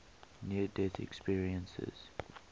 near death experiences